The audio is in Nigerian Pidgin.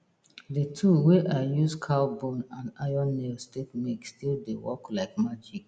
de tool wey i use cow bone and iron nails take make still dey work like magic